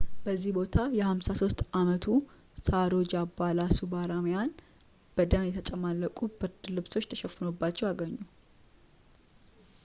በዚያ ቦታ የ53 ዓመቱን ሳሮጃ ባላሱብራማኒያን በደም የተጨማለቁ ብርድ ልብሶች ተሸፍኖባቸው አገኙ